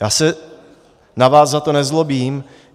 Já se na vás za to nezlobím.